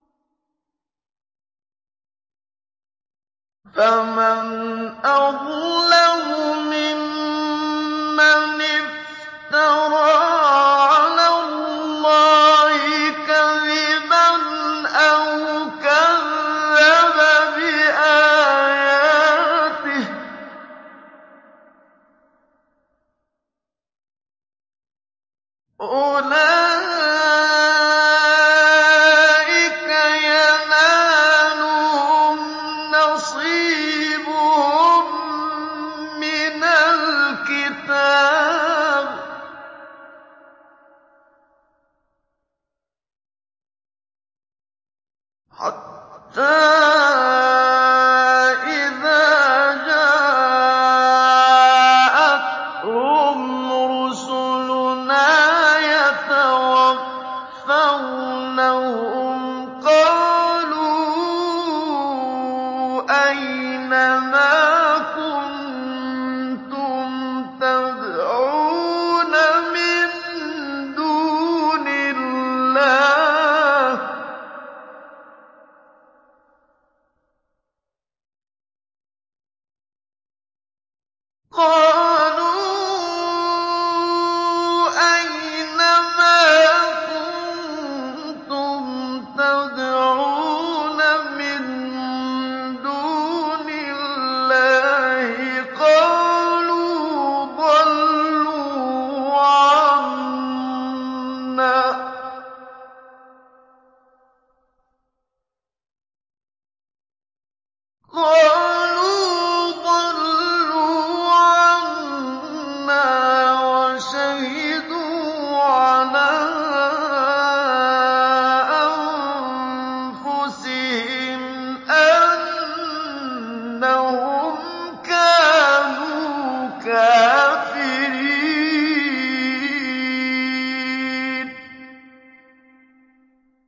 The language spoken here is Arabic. فَمَنْ أَظْلَمُ مِمَّنِ افْتَرَىٰ عَلَى اللَّهِ كَذِبًا أَوْ كَذَّبَ بِآيَاتِهِ ۚ أُولَٰئِكَ يَنَالُهُمْ نَصِيبُهُم مِّنَ الْكِتَابِ ۖ حَتَّىٰ إِذَا جَاءَتْهُمْ رُسُلُنَا يَتَوَفَّوْنَهُمْ قَالُوا أَيْنَ مَا كُنتُمْ تَدْعُونَ مِن دُونِ اللَّهِ ۖ قَالُوا ضَلُّوا عَنَّا وَشَهِدُوا عَلَىٰ أَنفُسِهِمْ أَنَّهُمْ كَانُوا كَافِرِينَ